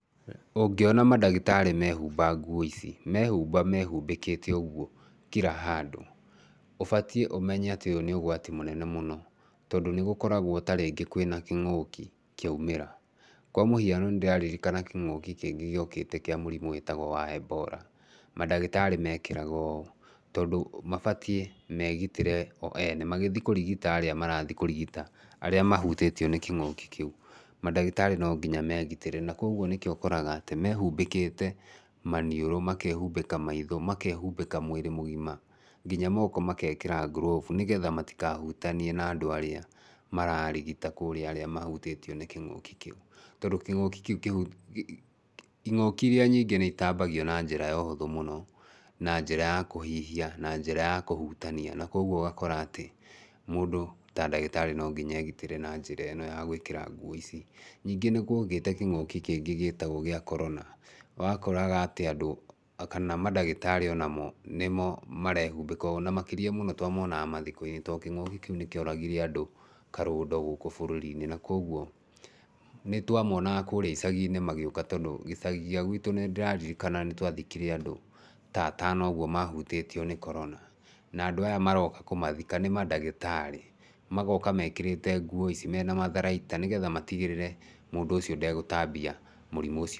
Ũngĩona mandagĩtarĩ mehumba nguo ici, mehumba mehumbĩkĩte ũguo kila handũ ũbatiĩ ũmenye atĩ ũyũ nĩ ũgwati mũnene mũno tondũ nĩ gũkoragwo ta rĩngĩ kwĩna kĩngũki kĩoimĩra. Kwa mũhiano nĩ ndĩraririkana kĩngũki kĩngĩ gĩokĩte kĩa mũrimũ wĩtagwo wa Ebola. Mandagĩtarĩ mekĩraga ũũ tondũ mabatiĩ megitĩre o ene magĩthiĩ kũrigita arĩa marathiĩ kũrigita arĩa mahutĩtio nĩ kĩngũki kĩu. Mandagĩtarĩ no nginya megitĩre. Na kwoguo nĩkĩo ũkoraga atĩ mehumbĩkĩte maniũrũ, makehumbĩka maitho, makehumbĩka mwĩrĩ mũgima, nginya moko magekĩra gloves nĩgetha matikahutanie na andũ arĩa mararigita kũrĩa, arĩa mahutĩtio nĩ kĩngũki kĩu. Tondũ kĩngũki kĩu... ingũki irĩa nyingĩ nĩ itambagio na njĩra ya ũhũthũ mũno, na njĩra ya kũhihia na njĩra ya kũhutania. Na koguo ũgakora atĩ mũndũ ta ndagĩtarĩ no nginya egitĩre na njĩra ĩno ya gũĩkĩra nguo ici. Ningĩ nĩ guokĩte kĩngũki kĩngĩ gĩtagwo gĩa korona. Nĩ wakoraga atĩ andũ na kana mandagĩtarĩ onamo nĩmo merehumbĩka ũũ. Na makĩrĩa mũno twamonaga mathiko-inĩ tondũ kĩngũki kĩu nĩ kĩoragire andũ karũndo gũkũ bũrũri-inĩ. Na koguo nĩ twamonaga kũrĩa icagi-inĩ magĩũka tondũ gĩcagi gĩa gwitũ nĩ ndĩraririkana nĩ twathikire andũ ta atono ũguo mahutĩtio nĩ Corona. Na andũ aya maroka kũmathika nĩ mandagĩtarĩ, magoka mekĩrĩte nguo ici mena matharaita nĩgetha matigĩrĩre mũndũ ũcio ndegũtambia mũrimũ ũcio...